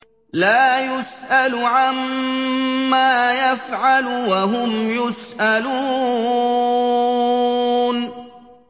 لَا يُسْأَلُ عَمَّا يَفْعَلُ وَهُمْ يُسْأَلُونَ